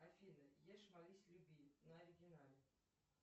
афина ешь молись люби на оригинале